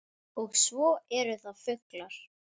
Og svo eru það fuglar